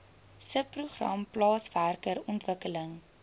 subprogram plaaswerker ontwikkeling